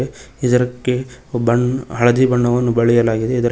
ಇದ್ರಕ್ಕೆ ಬಣ್ಣ್ ಹಳದಿ ಬಣ್ಣವನ್ನು ಬಳಿಯಲಾಗಿದೆ ಇದರ--